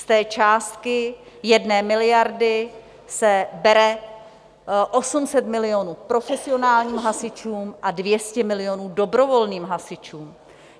Z té částky 1 miliardy se bere 800 milionů profesionálním hasičům a 200 milionů dobrovolným hasičům.